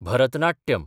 Bharatanatyam